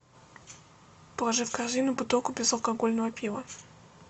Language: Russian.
положи в корзину бутылку безалкогольного пива